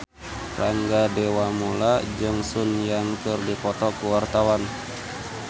Rangga Dewamoela jeung Sun Yang keur dipoto ku wartawan